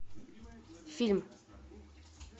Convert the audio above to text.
фильм